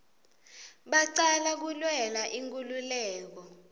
bacala kulwela inkululeko